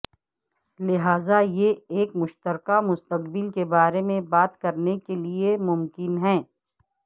لہذا یہ ایک مشترکہ مستقبل کے بارے میں بات کرنے کے لئے ممکن ہے